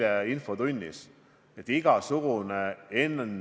Kas eriolukord annab selleks aluse?